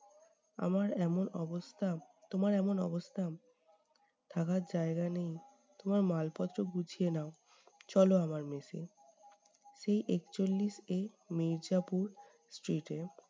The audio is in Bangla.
আমার এমন অবস্থা তোমার এমন অবস্থা, থাকার জায়গা নেই! তোমার মালপত্র গুছিয়ে নাও, চল আমার mess এ। সেই একচল্লিশ a মির্জাপুর street এ